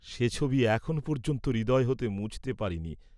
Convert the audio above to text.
সে ছবি এখন পর্য্যন্তও হৃদয় হতে মুছতে পারি নি।